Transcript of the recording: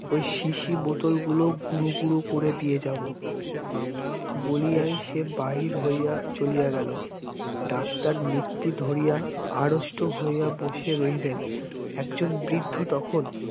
ওই শিশি বোতলগুলো গুরু গুরু করে দিয়ে যাব বলি আয় সে বাহির হইয়া চলিয়া গেল। ডাক্তার নিশ্চিত ধরিয়া আড়ষ্ট হইয়া বসে রইলেন একজন বৃদ্ধ তখন